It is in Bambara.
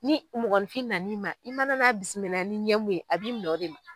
Ni mɔgɔnfin nan'i ma i mana n'a bisimila ni ɲɛ mun ye a b'i minɛ o de ma.